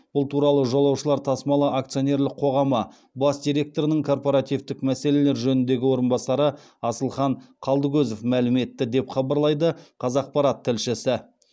бұл туралы жолаушылар тасымалы акционерлік қоғамы бас директорының корпоративтің мәселелер жөніндегі орынбасары асылхан қалдыкозов мәлім етті деп хабарлайды қазақпарат тілшісі